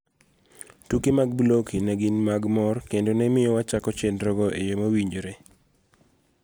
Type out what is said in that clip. Tuke mag Blocky ne gin mag mor kendo nemiyo wachako chenrogo eyoo mowinjore.